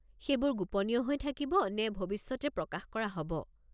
সেইবোৰ গোপনীয় হৈ থাকিব নে ভৱিষ্যতে প্ৰকাশ কৰা হ'ব?